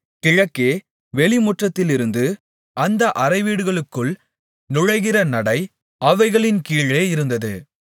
கிழக்கே வெளிமுற்றத்திலிருந்து அந்த அறைவீடுகளுக்குள் நுழைகிற நடை அவைகளின் கீழே இருந்தது